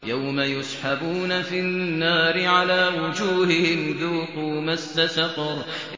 يَوْمَ يُسْحَبُونَ فِي النَّارِ عَلَىٰ وُجُوهِهِمْ ذُوقُوا مَسَّ سَقَرَ